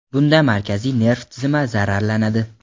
bunda markaziy nerv tizimi zararlanadi.